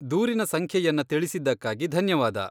ದೂರಿನ ಸಂಖ್ಯೆಯನ್ನ ತಿಳಿಸಿದ್ದಕ್ಕಾಗಿ ಧನ್ಯವಾದ.